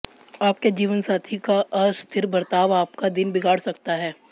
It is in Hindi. आपके जीवनसाथी का अस्थिर बर्ताव आपका दिन बिगाड़ सकता है